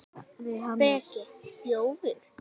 Breki: Þjófur?